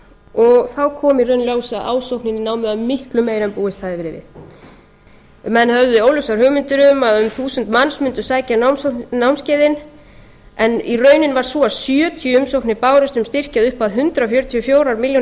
og þá kom í ljós að ásóknin í námið var miklu meiri en búist hafði verið við menn höfðu óljósar hugmyndir um að um þúsund manns mundu sækja námskeiðin en raunin varð sú að sjötíu umsóknir bárust um styrki að upphæð hundrað fjörutíu og fjórar milljónir